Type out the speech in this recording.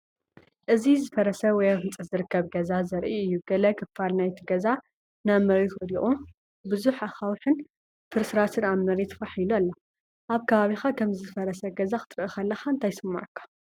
እዚ ዝፈረሰ ወይ ኣብ ህንፀት ዝርከብ ገዛ ዘርኢ እዩ። ገለ ክፋል ናይቲ ገዛ ናብ መሬት ወዲቑ፡ ብዙሕ ኣኻውሕን ፍርስራስን ኣብ መሬት ፋሕ ኢሉ ኣሎ። ኣብ ከባቢኻ ከምዚ ዝፈረሰ ገዛ ክትርኢ ከለኻ እንታይ ይስምዓካ?